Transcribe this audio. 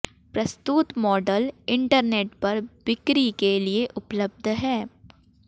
प्रस्तुत model internet पर बिक्री के लिए उपलब्ध हैं